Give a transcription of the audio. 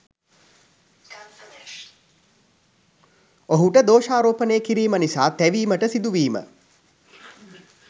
ඔහුට දෝෂාරෝපණය කිරීම නිසා තැවීමට සිදුවීම